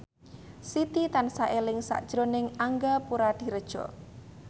Siti tansah eling sakjroning Angga Puradiredja